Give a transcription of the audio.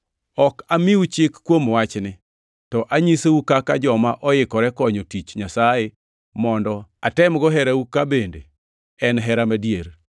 Ok amiu chik kuom wachni, to anyisou kaka joma oikore konyo tich Nyasaye mondo atemgo herau ka bende en hera madier.